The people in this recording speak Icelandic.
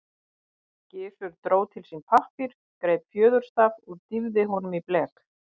Gizur dró til sín pappír, greip fjöðurstaf og dýfði honum í blek.